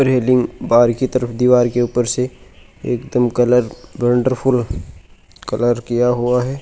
रेलीग बा- बाहर की तरफ दिवार ऊपर से एक दम कलर वंडरफुल कलर किया हुआ है।